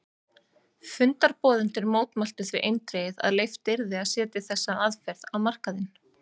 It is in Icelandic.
Fundarboðendur mótmæltu því eindregið að leyft yrði að setja þessa aðferð á markaðinn.